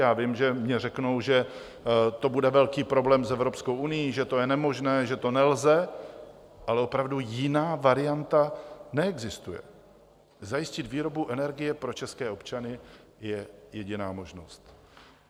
Já vím, že mně řeknou, že to bude velký problém s Evropskou unií, že to je nemožné, že to nelze, ale opravdu jiná varianta neexistuje - zajistit výrobu energie pro české občany je jediná možnost.